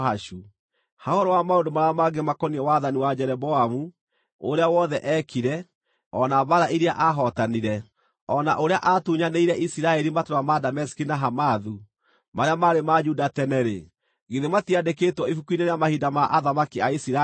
Ha ũhoro wa maũndũ marĩa mangĩ makoniĩ wathani wa Jeroboamu, ũrĩa wothe eekire, o na mbaara iria aahootanire, o na ũrĩa aatunyanĩire Isiraeli matũũra ma Dameski na Hamathu, marĩa maarĩ ma Juda tene-rĩ, githĩ matiandĩkĩtwo ibuku-inĩ rĩa mahinda ma athamaki a Isiraeli?